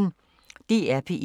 DR P1